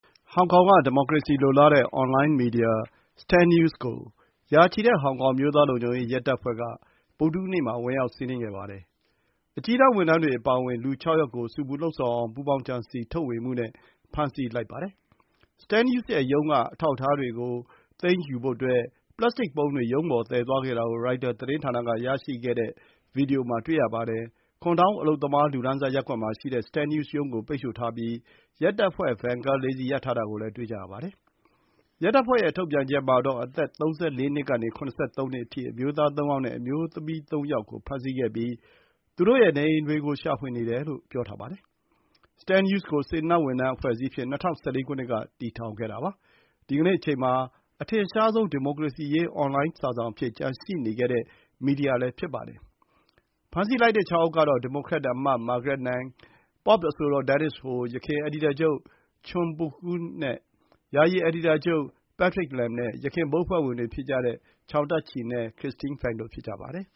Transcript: ဟောင်ကောင်က ဒီမိုကရေစီလိုလားတဲ့ အွန်လိုင်းမီဒီယာ Stand News ကို ရာချီတဲ့ ဟောင်ကောင် အမျိုးသားလုံခြုံရေး ရဲတပ်ဖွဲ့က ဗုဒ္ဓဟူးနေ့မှာ ဝင်ရောက် စီးနင်းခဲ့ပါတယ်။ အကြီးတန်း ဝန်ထမ်းတွေအပါအဝင် လူ ၆ ယောက်ကို ဆူပူလှုံ့ဆော်အောင် ပူးပေါင်းကြံစည် ထုတ်ဝေမှုနဲ့ ဖမ်းဆီးလိုက်ပါတယ်။ Stand News ရဲ့ရုံးက အထောက်အထားတွေကို သိမ်းဖို့ ပလပ်စတစ်ပုံးတွေ ရုံးပေါ်သယ်သွားခဲ့တာကို ရိုက်တာသတင်းဌာနကရရှိတဲ့ ဗွီဒီယိုမှာ တွေ့ရပါတယ်။ Kwun Tong အလုပ်သမား လူတန်းစား ရပ်ကွက်မှာရှိတဲ့ Stand News ရုံးကို ပိတ်ဆို့ထားပြီး ရဲတပ်ဖွဲ့ ဗင်ကား ၄ စီး ရပ်ထားတာကို တွေ့မြင်ကြရပါတယ်။ ရဲတပ်ဖွဲ့ရဲ့ထုတ်ပြန်ချက်မှာတော့ အသက် ၃၄ နှစ်ကနေ ၇၃ နှစ် အထိ အမျိုးသား ၃ ယောက်နဲ့ အမျိုးသမီး ၃ ယောက်ကို ဖမ်းဆီးခဲ့ပြီး သူတို့ရဲ့နေအိမ်တွေကို ရှာဖွေနေတယ်လို့ ပြောထားပါတယ်။ Stand News ကို စေတနာ့ဝန်ထမ်း အဖွဲ့အစည်းအဖြစ် ၂၀၁၄ ခုနှစ်က ထူထောင်ခဲ့တာပါ။ဒီကနေ့အချိန်မှာ အထင်ရှားဆုံး ဒီမိုကရေစီရေး အွန်လိုင်းစာစောင်အဖြစ် ကျန်ရှိနေခဲ့တဲ့ မီဒီယာ ဖြစ်ပါတယ်။ ဖမ်းဆီးလိုက်တဲ့ ၆ ယောက်ကတော့ ဒီမိုကရက်အမတ် Margaret Ng၊ ပေါ့ပ် အဆိုတော် Denise Ho၊ ယခင် အယ်ဒီတာချုပ် Chung Pui-kuen၊ ယာယီအယ်ဒီတာချုပ် Patrick Lam နဲ့ ယခင်ဘုတ်အဖွဲ့ဝင်တွေဖြစ်ကြတဲ့ Chow Tat-chi နဲ့ Christine Fang တို့ ဖြစ်ကြပါတယ်